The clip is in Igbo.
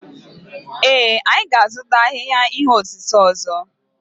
Ee, anyị ga-azụta ahịhịa ihe osise ọzọ.